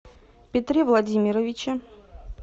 петре владимировиче